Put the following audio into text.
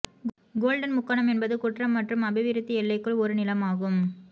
golden முக்கோணம் என்பது குற்றம் மற்றும் அபிவிருத்தி எல்லைக்குள் ஒரு நிலமாகும்